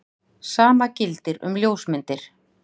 Sama gildir um ljósmyndir.